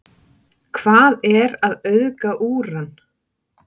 hvað er að auðga úran